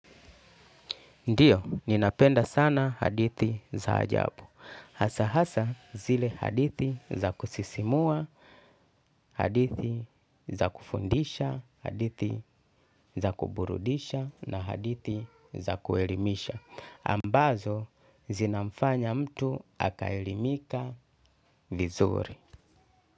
Ndiyo, ninapenda sana hadithi za ajabu. Hasa hasa zile hadithi za kusisimua, hadithi za kufundisha, hadithi za kuburudisha na hadithi za kuelimisha. Ambazo zinamfanya mtu akaelimika vizuri.